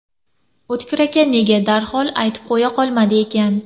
O‘tkir aka nega darhol aytib qo‘ya qolmadi ekan?